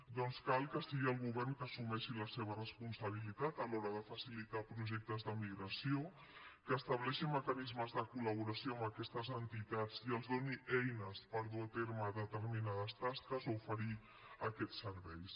doncs cal que sigui el govern qui assumeixi la seva responsabilitat a l’hora de facilitar projectes d’emigració que estableixi mecanismes de col·laboració amb aquestes entitats i els doni eines per dur a terme determinades tasques o oferir aquests serveis